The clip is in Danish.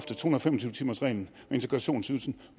tyve timersreglen og integrationsydelsen